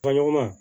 Fa ɲɔgɔn ma